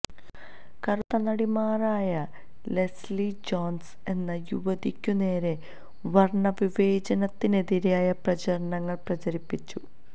കറുത്ത നടിമാരായ Leslie Jones എന്ന യുവതിക്കുനേരെ വർണ്ണവിവേചനത്തിനെതിരായ പ്രചരണങ്ങൾ പ്രചരിപ്പിച്ചു